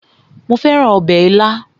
Mo fẹ́ràn ọbẹ̀ ilá